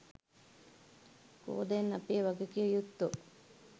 කො දැන් අපේ වගකිව යුත්තො?